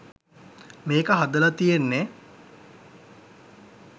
මේක හදල තියෙන්නෙ